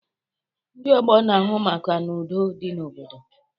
Ndị ọgbọ na-ahụ maka na udo dị n'obodo